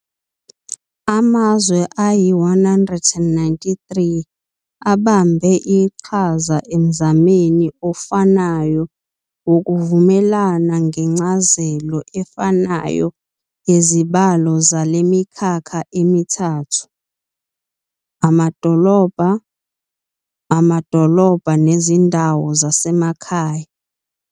Amazwe ayi-193 abambe iqhaza emzameni ofanayo wokuvumelana ngencazelo efanayo yezibalo zale mikhakha emithathu- amadolobha, amadolobha nezindawo zasemakhaya.